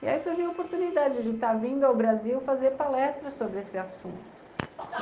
E aí surgiu a oportunidade de estar vindo ao Brasil fazer palestras sobre esse assunto.